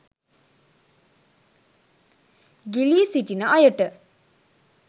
ගිලී සිටින අයට